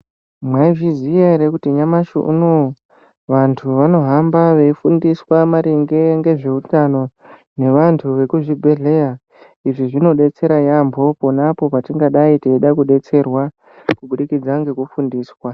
Mwaizviziya here kuti nyamashi unowu vantu vanohamba veifundiswa maringe ngezveutano ngeantu ekuzvibhehlera izvi zvinobetserwa yaamho ponapo patinenge teida kubetserwa kubudikidza nekufundiswa.